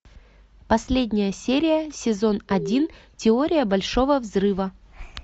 последняя серия сезон один теория большого взрыва